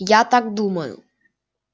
я так думаю